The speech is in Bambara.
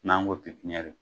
N'an ko pepiniyɛri.